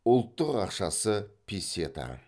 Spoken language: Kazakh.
ұлттық ақшасы песета